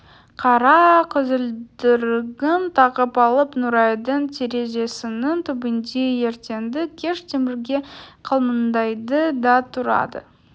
қара көзілдірігін тағып алып нұрайдың терезесінің түбінде ертеңді-кеш темірге қылмыңдайды да тұрады